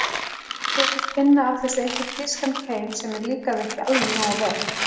Ég þóttist finna af þessu einhvern þýskan keim sem mér líkaði ekki alveg nógu vel.